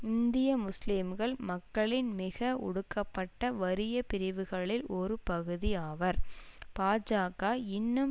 இந்திய முஸ்லிம்கள் மக்களின் மிக ஒடுக்கப்பட்ட வறிய பிரிவுகளில் ஒரு பகுதி ஆவர் பாஜக இன்னும்